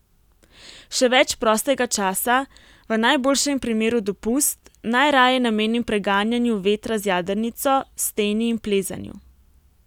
Še več prostega časa, v najboljšem primeru dopust, najraje namenim preganjanju vetra z jadrnico, steni in plezanju.